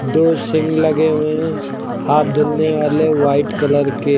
दो सींग लगे हुए है हाथ धुलने वाले वाइट कलर के--